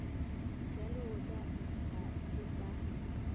ja leotša ga e sa